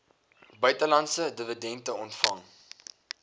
buitelandse dividende ontvang